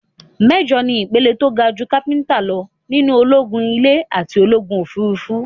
Méjọ̀ ni ìpele tó ga jú Kápítáìn lọ nínú ológún ilè àti ológùn òfurufú.